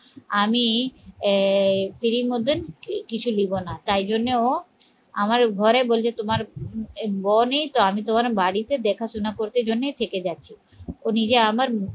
আমি আহ free মধ্যে কিছু লিখবো না তাই জন্য ও আমার ঘরে বলছে তোমার বউ নেই তো, আমি তোমার বাড়িতে দেখাশুনা করতে ওই জন্যেই থেকে যাচ্ছি ও নিজে আমার